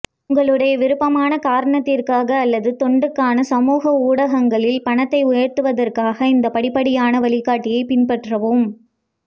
உங்களுடைய விருப்பமான காரணத்திற்காக அல்லது தொண்டுக்கான சமூக ஊடகங்களில் பணத்தை உயர்த்துவதற்காக இந்த படிப்படியான வழிகாட்டியைப் பின்பற்றவும்